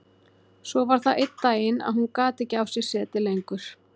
Svo var það einn daginn að hún gat ekki á sér setið lengur.